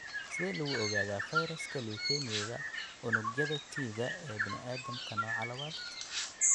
Sidee lagu ogaadaa fayraska leukemia-ga unugyada T-ga ee bini'aadamka, nooca labaad?